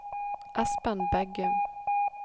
Esben Begum